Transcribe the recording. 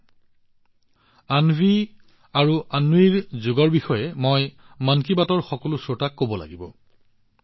অন্বী আৰু অন্বীৰ যোগৰ সৈতে মোৰ সাক্ষাৎ ইমানেই স্মৰণীয় আছিল যে মই মন কী বাতৰ সকলো শ্ৰোতাক এই বিষয়ে কব বিচাৰিছোঁ